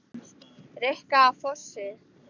Rikka á Fossi!